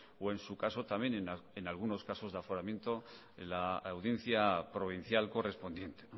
o en su caso también en algunos casos de aforamiento la audiencia provincial correspondiente